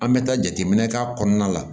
An bɛ taa jateminɛ k'a kɔnɔna la